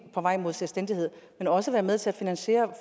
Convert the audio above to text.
på vej mod selvstændighed og også være med til at investere